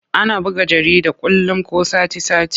Ana buga jarida kullum ko sati-sati.